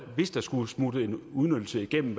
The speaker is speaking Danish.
hvis der skulle smutte en udnyttelse igennem